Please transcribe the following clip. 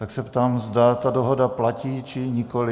Tak se ptám, zda ta dohoda platí, či nikoli.